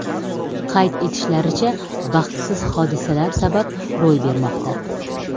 Qayd etishlaricha, baxtsiz hodisalar sabab ro‘y bermoqda.